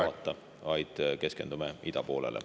… ei vaata, vaid keskendume idapoolele.